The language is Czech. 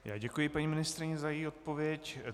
Já děkuji paní ministryni za její odpověď.